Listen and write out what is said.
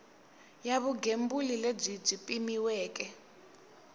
ya vugembuli lebyi byi pimiweke